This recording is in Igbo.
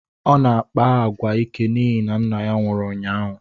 Ọ na-akpa agwa ike n'ihi na nna ya nwụrụ ụnyaahụ